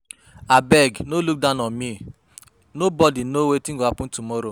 Abeg no look down on me, nobody know wetin go happen tomorrow